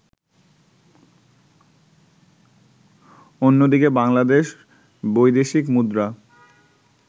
অন্যদিকে বাংলাদেশ বৈদেশিক মুদ্রা